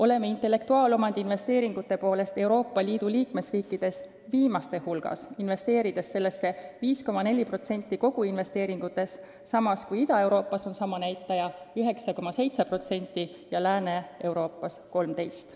Oleme selle poolest Euroopa Liidu liikmesriikide seas viimaste hulgas, investeerides sellesse tegevusse 5,4% koguinvesteeringutest, samas kui Ida-Euroopas on sama näitaja 9,7% ja Lääne-Euroopas 13%.